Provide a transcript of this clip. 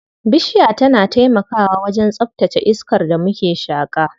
Bishiya tana taimakawa wajen tsaftace iskar da muke shaƙa.